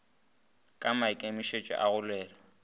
ka maikemišitšo a go lwela